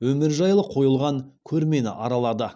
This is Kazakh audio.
өмірі жайлы қойылған көрмені аралады